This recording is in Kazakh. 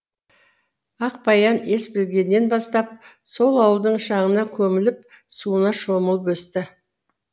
ақбаян ес білгеннен бастап сол ауылдың шаңына көміліп суына шомылып өсті